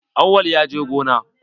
Awwal ya je gona?